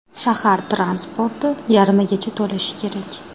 Shahar transporti yarmigacha to‘lishi kerak.